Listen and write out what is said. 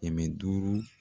Kɛmɛ duuru.